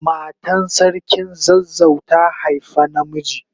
Matan sarkin zazzau ta haifa na miji.